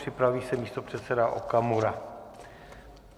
Připraví se místopředseda Okamura.